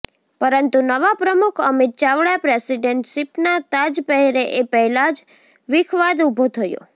પરંતુ નવા પ્રમુખ અમિત ચાવડા પ્રેસિડેન્ટ શિપના તાજ પહેરે એ પહેલા જ વિખવાદ ઉભો થયો